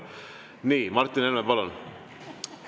Nii, Martin Helme, palun!